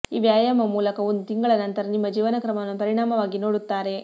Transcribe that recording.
ಈ ವ್ಯಾಯಾಮ ಮೂಲಕ ಒಂದು ತಿಂಗಳ ನಂತರ ನಿಮ್ಮ ಜೀವನಕ್ರಮವನ್ನು ಪರಿಣಾಮವಾಗಿ ನೋಡುತ್ತಾರೆ